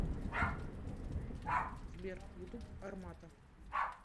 сбер ютуб армата